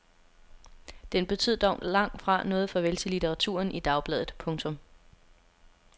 Den betød dog langt fra noget farvel til litteraturen i dagbladet. punktum